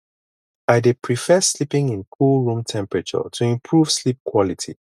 i dey prefer sleeping in cool room temperature to improve sleep quality